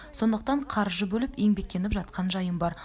сондықтан қаржы бөліп еңбектеніп жатқан жайым бар